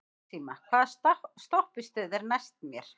Maxima, hvaða stoppistöð er næst mér?